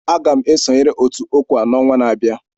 Aga m esonyere otu OCWA n'ọnwa na-abịa.